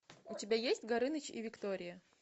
у тебя есть горыныч и виктория